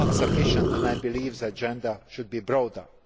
aspects. It is not sufficient, and I believe the agenda should be